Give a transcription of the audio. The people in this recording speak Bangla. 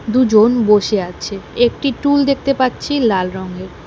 দুজন বসে আছে একটি টুল দেখতে পাচ্ছি লাল রঙের।